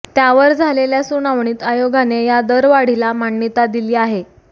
त्यावर झालेल्या सुनावणीत आयोगाने या दरवाढीला मान्यता दिली आहे